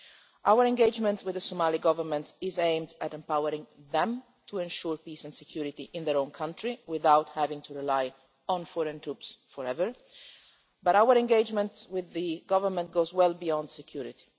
Our engagement with the Somali Government is aimed at empowering them to ensure peace and security in their own country without having to rely on foreign troops forever, but our engagement with the Government goes well beyond security.